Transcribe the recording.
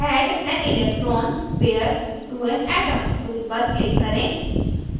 add an electron pair to an atom tool पर click करें